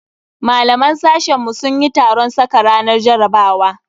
Malaman sashen mu sun yi taron saka ranar jarabawa.